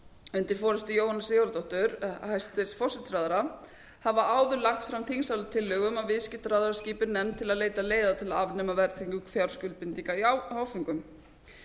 undir forustu jóhönnu sigurðardóttur hæstvirtur forsætisráðherra hafa áður lagt fram þingsályktunartillögu um að viðskiptaráðherra skipi nefnd til að leita leiða til að afnema verðtrygging fjárskuldbindinga í áföngum